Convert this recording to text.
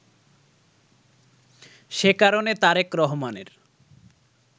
সে কারণে তারেক রহমানের